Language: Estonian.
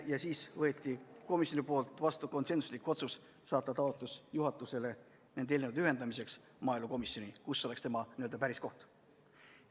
Ja siis võttis komisjon vastu konsensusliku otsuse saata juhatusele taotlus nende eelnõude ühendamiseks – maaelukomisjoni, kus oleks selle päris koht.